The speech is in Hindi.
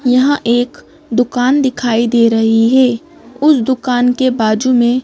यहां एक दुकान दिखाई दे रही है उस दुकान के बाजू में--